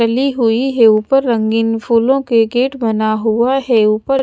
फेली हुई है उपर रंगीन फूलो के गेट बना हुआ है उपर--